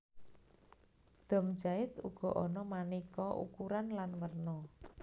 Dom jait uga ana manéka ukuran lan werna